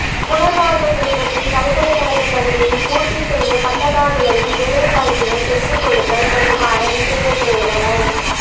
புனர்வாழ்வு பெற்றபின் பல்கலைகழக கல்வியை பூர்த்தி செய்த பட்டதாரிகளின் வேலைவாய்ப்பினைப் பெற்றுக்கொடுத்தல் தொடர்பான விசேட பிரேரனை